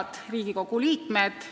Head Riigikogu liikmed!